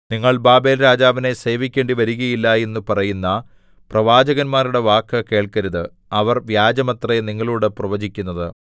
നിങ്ങൾ ബാബേൽരാജാവിനെ സേവിക്കേണ്ടി വരുകയില്ല എന്നു പറയുന്ന പ്രവാചകന്മാരുടെ വാക്ക് കേൾക്കരുത് അവർ വ്യാജമത്രേ നിങ്ങളോടു പ്രവചിക്കുന്നത്